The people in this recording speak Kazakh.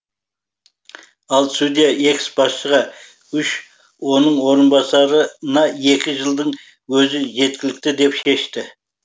ал судья экс басшыға үш оның орынбасарына екі жылдың өзі жеткілікті деп шешті